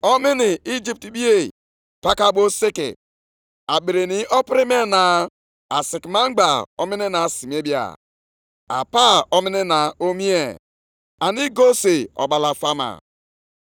‘Nke a bụ ihe merenụ mgbe mụ na unu gbara ndụ nʼoge ahụ unu si nʼIjipt pụta. Mmụọ m na-anọgidekwa nʼetiti unu. Unu atụla egwu.’